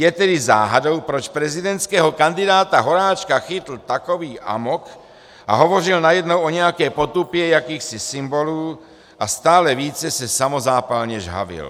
Je tedy záhadou, proč prezidentského kandidáta Horáčka chytl takový amok a hovořil najednou o nějaké potupě jakýchsi symbolů a stále více se samozápalně žhavil.